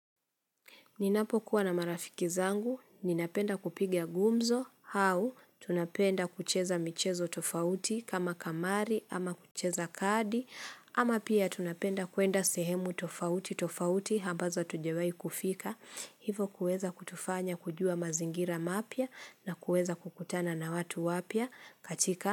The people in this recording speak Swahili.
Ninapo kuwa na marafiki zangu, ninapenda kupiga gumzo, au tunapenda kucheza michezo tofauti kama kamari ama kucheza kadi ama pia tunapenda kuenda sehemu tofauti tofauti ambazo hatujawahi kufika. Hivo kuweza kutufanya kujua mazingira mapya na kuweza kukutana na watu wapya katika.